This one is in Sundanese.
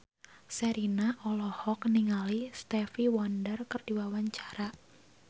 Sherina olohok ningali Stevie Wonder keur diwawancara